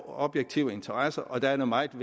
objektive interesser og der er det meget